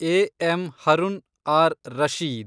A. M. Harun R Rashid